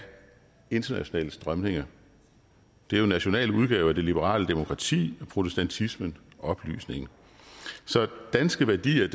internationale strømninger det er jo nationale udgaver af det liberale demokrati af protestantismen og oplysningen så danske værdier